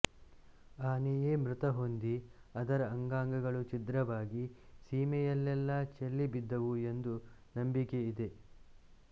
ಆನೆಯೇ ಮೃತ ಹೊಂದಿ ಅದರ ಅಂಗಾಂಗಗಳು ಛಿದ್ರವಾಗಿ ಸೀಮೆಯಲ್ಲೆಲ್ಲ ಚೆಲ್ಲಿ ಬಿದ್ದುವು ಎಂದು ನಂಬಿಕೆ ಇದೆ